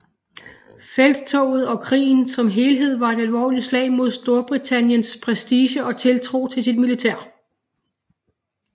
Felttoget og krigen som helhed var et alvorligt slag mod Storbritanniens prestige og tiltro til sit militær